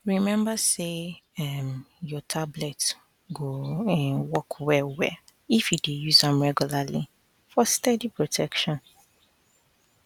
remember say um your tablet go um work wellwell if you dey use am regularly for steady protection